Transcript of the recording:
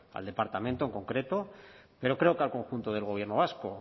al departamento en concreto pero creo que al conjunto del gobierno vasco